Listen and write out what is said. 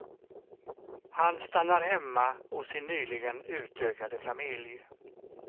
Han stannar hemma hos sin nyligen utökade familj.